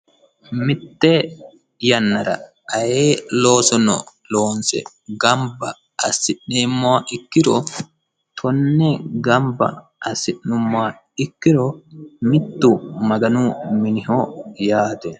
Mite yannara ayee loosono loonse gamba assineemmoha ikkiro konne gamba assinoommoha ikkiro mitu Maganu miniho yaate.